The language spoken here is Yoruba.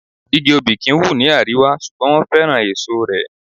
Igi Obì kì ń wù ní àríwá, ṣùgbọ́n wọn féràn èso rẹ̀.